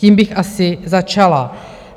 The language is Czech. Tím bych asi začala.